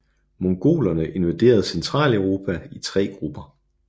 Mongolerne invaderede Centraleuropa i tre grupper